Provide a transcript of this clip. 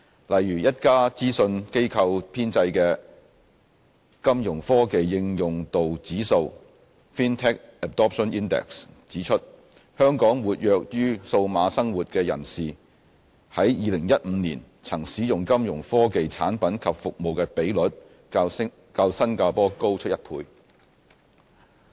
例如，一家諮詢機構編製的金融科技應用度指數指出，香港"活躍於數碼生活"的人士在2015年曾使用金融科技產品及服務的比率，較新加坡高出1倍。